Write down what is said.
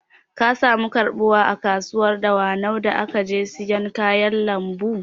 Ka samu karɓuwa a kasuwar dawanau da ka je siyan kayan lambu?